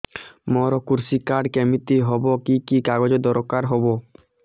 ମୋର କୃଷି କାର୍ଡ କିମିତି ହବ କି କି କାଗଜ ଦରକାର ହବ